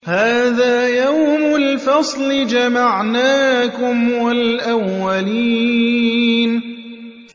هَٰذَا يَوْمُ الْفَصْلِ ۖ جَمَعْنَاكُمْ وَالْأَوَّلِينَ